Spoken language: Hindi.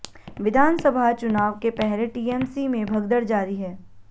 विधानसभा चुनाव के पहले टीएमसी में भगदड़ जारी है